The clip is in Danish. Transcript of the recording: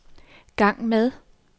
gang med